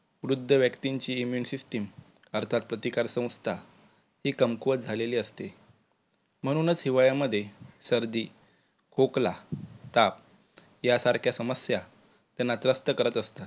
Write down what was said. वृद्ध व्यक्तींची immuni system अर्थात प्रतिकार संस्था हि कमकुवत झालेली असते. म्हणूनचं हिवाळ्या मध्ये सर्दी, खोकला, ताप यासारख्या समस्या त्यांना त्रस्त करत असतात